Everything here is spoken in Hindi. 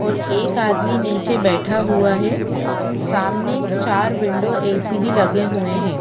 और एक आदमी नीचे बैठा हुआ है सामने चार विंडो ए_सी भी लगे हुए हैं।